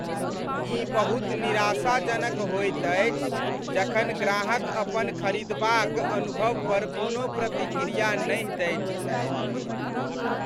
ई बहुत निराशाजनक होइत अछि जखन ग्राहक अपन खरीदबा क अनुभव पर कोनो प्रतिक्रिया नहि दैत छथि।